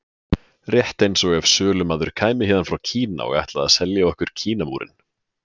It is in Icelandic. Rétt eins og ef sölumaður kæmi héðan frá Kína og ætlaði að selja okkur Kínamúrinn.